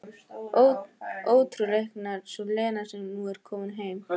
Óútreiknanleg sú Lena sem nú er komin heim.